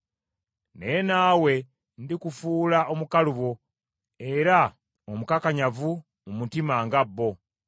Naye naawe ndikufuula omukalubo era omukakanyavu mu mutima nga bo.